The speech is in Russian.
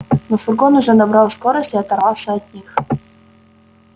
но фургон уже набрал скорость и оторвался от них